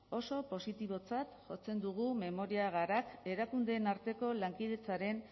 oso positibotzat jotzen dugu memoria gara erakundeen arteko lankidetzaren